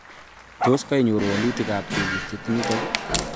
Tos kainyoru walutit ab tebutiet nitok?